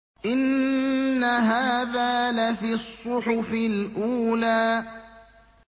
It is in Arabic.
إِنَّ هَٰذَا لَفِي الصُّحُفِ الْأُولَىٰ